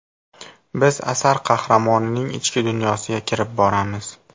Biz asar qahramonining ichki dunyosiga kirib boramiz.